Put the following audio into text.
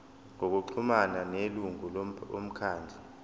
ngokuxhumana nelungu lomkhandlu